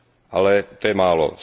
Ale to je málo.